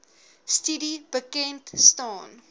studie bekend staan